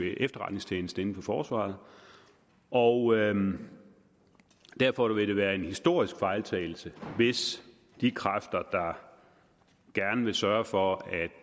efterretningstjeneste inden for forsvaret og derfor ville det være en historisk fejltagelse hvis de kræfter der gerne vil sørge for at